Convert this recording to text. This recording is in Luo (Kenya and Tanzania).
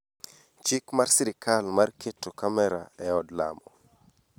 chik mar serikal mar keto kamera e od lamo